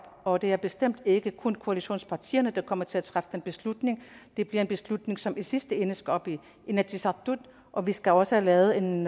og det er bestemt ikke kun koalitionspartierne der kommer til at træffe den beslutning det bliver en beslutning som i sidste ende skal op i inatsisartut og vi skal også have lavet en